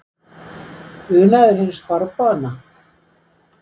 Unaður hins forboðna?